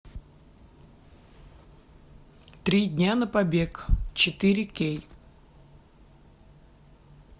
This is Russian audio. три дня на побег четыре кей